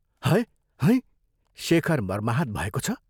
है हैं? शेखर मर्माहत भएको छ?